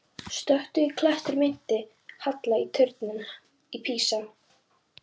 Stöku klettur minnti á halla turninn í Písa.